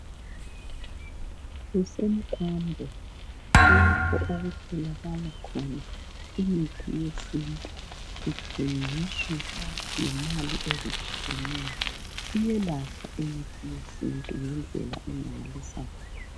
Kusemkambo lapho okutholakala khona imithi yesintu ithengiswa ngemali ezitshiyeneyo, iyelapha imithi yesintu ngendlela emangalisayo.